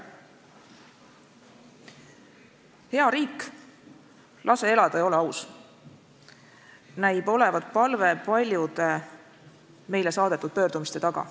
"Hea riik, lase elada ja ole aus!" näib olevat palve paljude meile saadetud pöördumiste taga.